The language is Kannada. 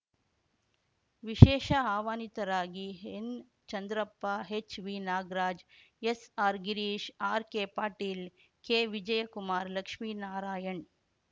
ವಿಶೇಷ ಆಹ್ವಾನಿತರಾಗಿ ಎನ್ಚಂದ್ರಪ್ಪ ಹೆಚ್ವಿನಾಗರಾಜ್ ಎಸ್ಆರ್ಗಿರೀಶ್ ಆರ್ಕೆಪಾಟೀಲ್ ಕೆವಿಜಯ ಕುಮಾರ್ ಲಕ್ಷ್ಮೀನಾರಾಯಣ್